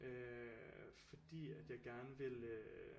Øh fordi at jeg gerne ville øh